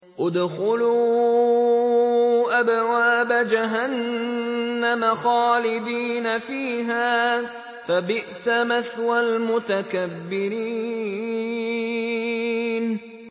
ادْخُلُوا أَبْوَابَ جَهَنَّمَ خَالِدِينَ فِيهَا ۖ فَبِئْسَ مَثْوَى الْمُتَكَبِّرِينَ